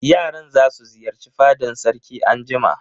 Yaran za su ziyarci fadan sarki anjima.